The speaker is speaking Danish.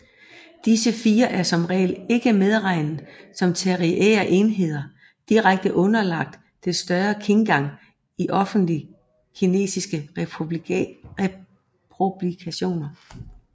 Disse fire er som regel ikke medregnet som tertiære enheder direkte underlagt Det større Khingan i officielle kinesiske publikationer